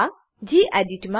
આ ગેડિટ